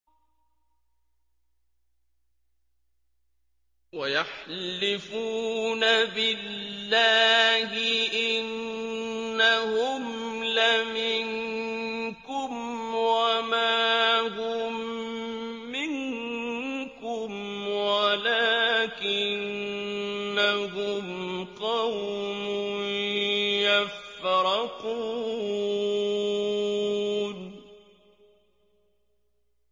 وَيَحْلِفُونَ بِاللَّهِ إِنَّهُمْ لَمِنكُمْ وَمَا هُم مِّنكُمْ وَلَٰكِنَّهُمْ قَوْمٌ يَفْرَقُونَ